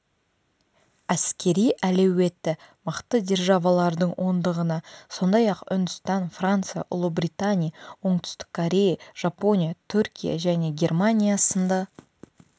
әскери әлеуеті мықты державалардың ондығына сондай-ақ үндістан франция ұлыбритания оңтүстік корея жапония түркия және германия сынды